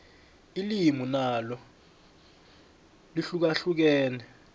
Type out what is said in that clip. ilimi nalo lihlukahlukene